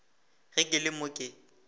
ge ke le mo ke